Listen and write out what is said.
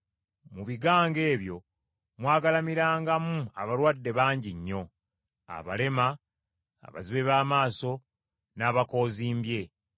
Mu bigango ebyo mwagalamirangamu abalwadde bangi nnyo: abalema, abazibe b’amaaso, n’abakoozimbye.